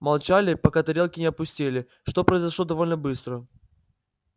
молчали пока тарелки не опустели что произошло довольно быстро